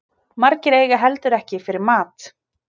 Margir eiga heldur ekki fyrir mat